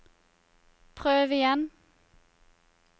prøv igjen